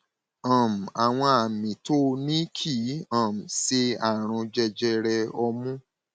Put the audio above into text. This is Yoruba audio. um àwọn àmì tó o ní kì um í ṣe àrùn jẹjẹrẹ ọmú